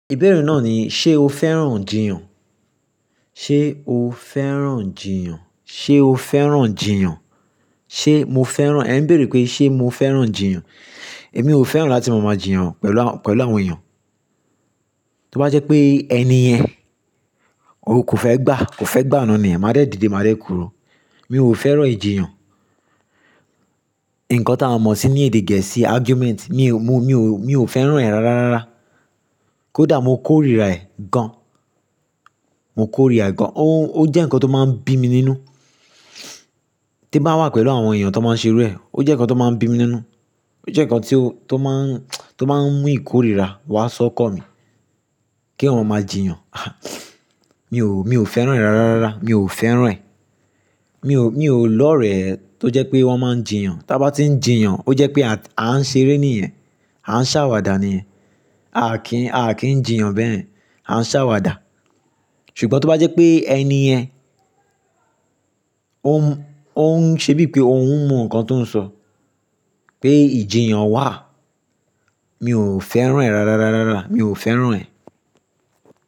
Ìbéèrè náà ni, ṣe o fẹ́ràn jìyàn? Ṣe o fẹ́ràn ijìyàn? Ṣe o fẹ́ràn jìyàn? Ṣe mo fẹ́ràn, ẹ̀ ń béèrè pé ṣe mo fẹ́ràn ijìyàn? Èmi ò fẹ́ràn láti má ma jìyàn pẹ̀lú àwọn, pẹ̀lú àwọn èèyàn. Tí ó bá jẹ́ pé ẹni yẹn, òun kò fẹ́ gbà, kò fẹ́ gbà á náà niyen, máa dẹ́ didé, máa dẹ́ kúrò. Mi ò fẹ́ràn ìjiyàn. Ǹkan tí a mọ̀ sí ní èdè Gẹ̀ẹ́sì argument, mi ò, mo, mi ò, mi ò fẹ́ràn ẹ̀ rárá rárá. Kódà mo kórìíra ẹ̀ gan. Mo kórìíra ẹ̀ gan. Ó jẹ́ ǹkan tó máa ń bí mi nínú. Tí bá wà pẹ̀lú àwọn èèyàn tó máa ń ṣe iru ẹ̀. Ó jẹ́ ǹkan tó máa ń bí mi nínú. Ó jẹ́ ǹkan tí ó, tó máa ń, tó máa ń mú ìkórìíra wá sọ́kan mi kí eyan máa jìyàn. Mi ò, mi ò fẹ́ràn ẹ̀ rárá rárá. Mi ò fẹ́ràn ẹ̀. Mi ò, mi ò lọ́rẹ ẹ́ tó jẹ́ pé wọ́n máa ń jìyàn. Tí a bá tí ń jìyàn, ó jẹ́ pé à á ṣeré níyẹ̀n, à ń ṣàwàdà niyẹ̀n, a kì n, a kì n jìyàn bẹ́yen, à ń ṣàwàdà. Ṣùgbọ́n tí ó bá jẹ́ pé ẹni yẹn, òun, òun ṣe bíi pé òun mọ ǹkan tó ń sọ pé ìjiyàn wà, mi ò fẹ́ràn ẹ̀ rárá rárá rárá. Mi ò fẹ́ràn ẹ̀.